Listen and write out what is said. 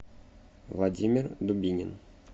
владимир дубинин